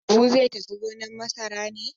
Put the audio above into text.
Habu zai tafi gonar masara ne?